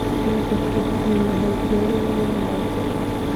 Mesha kudagilah gari waa daafe.